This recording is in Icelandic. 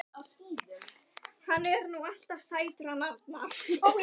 Magnús Hlynur Hreiðarsson: Þannig það er mikilvægt að vera heiðarlegur?